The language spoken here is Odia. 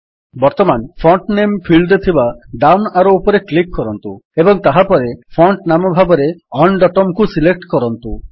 ବର୍ତ୍ତମାନ ଫଣ୍ଟ୍ ନେମ୍ ଫିଲ୍ଡରେ ଥିବା ଡାଉନ୍ ଆରୋ ଉପରେ କ୍ଲିକ୍ କରନ୍ତୁ ଏବଂ ତାହାପରେ ଫଣ୍ଟ ନାମ ଭାବରେ UnDotumକୁ ସିଲେକ୍ଟ କରନ୍ତୁ